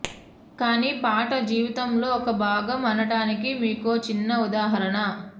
కానీ పాట జీవితంలో ఒక భాగం అనటానికి మీకో చిన్న ఉదాహరణ